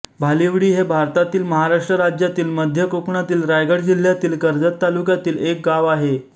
भालिवडी हे भारतातील महाराष्ट्र राज्यातील मध्य कोकणातील रायगड जिल्ह्यातील कर्जत तालुक्यातील एक गाव आहे